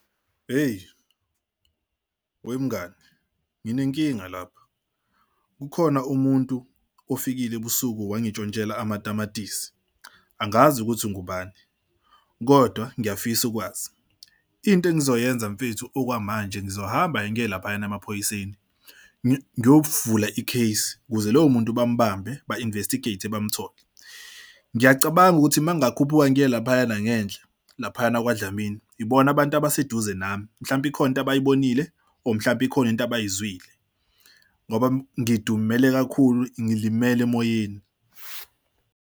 Eyi wemngani nginenkinga lapha kukhona umuntu ofikile ebusuku wangishontshela amatamatisi. Angazi ukuthi ngubani kodwa ngiyafisa ukwazi into engizoyenza mfethu. Okwamanje ngizohamba ngiye laphayana emaphoyiseni, ngiyovula i-case ukuze lowo muntu bambambe ba-investigate bamtholele. Ngiyacabanga ukuthi uma ngakhuphuka ngiye laphayana ngenhla laphayana kwaDlamini ibona abantu abaseduze nami. Mhlawumbe ikhona into abayibonile or mhlawumbe ikhona into abayizwile ngoba ngidumele kakhulu ngilimele emoyeni.